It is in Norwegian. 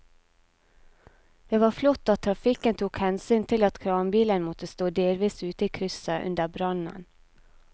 Det var flott at trafikken tok hensyn til at kranbilen måtte stå delvis ute i krysset under brannen.